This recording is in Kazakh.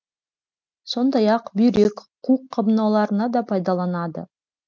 сондай ақ бүйрек қуық қабынуларына да пайдаланады